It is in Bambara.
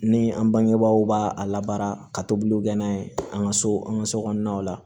Ni an bangebaw b'a a labaara ka tobiliw kɛ n'a ye an ka so an ka so kɔnɔnaw la